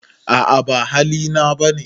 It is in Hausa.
A'a ba hali na ba ne.